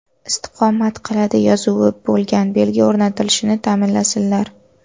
istiqomat qiladi” yozuvi bo‘lgan belgi o‘rnatilishini ta’minlasinlar.